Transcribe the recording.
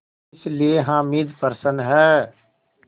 इसलिए हामिद प्रसन्न है